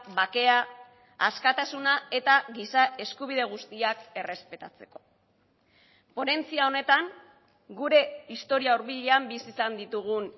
bakea askatasuna eta giza eskubide guztiak errespetatzeko ponentzia honetan gure historia hurbilean bizi izan ditugun